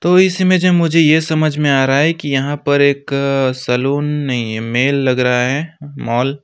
तो इसमें जे मुझे यह समझ में आ रहा है कि यहां पर एक-क सैलून नहीं है मेल लग रहा है उ मॉल --